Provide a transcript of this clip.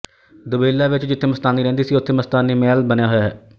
ਦੁਬੇਲਾ ਵਿੱਚ ਜਿੱਥੇ ਮਸਤਾਨੀ ਰਹਿੰਦੀ ਸੀ ਉੱਥੇ ਮਸਤਾਨੀ ਮਹਿਲ ਬਣਿਆ ਹੋਇਆ ਹੈ